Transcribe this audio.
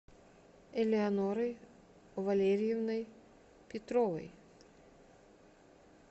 элеонорой валериевной петровой